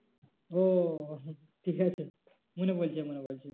ও ঠিক আছে মনে পরেছে মনে পরেছে।